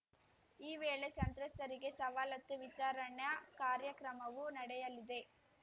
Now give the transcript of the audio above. ಈ ವೇಳೆ ಸಂತ್ರಸ್ತರಿಗೆ ಸವಲತ್ತು ವಿತರಣಾ ಕಾರ್ಯಕ್ರಮವು ನಡೆಯಲಿದೆ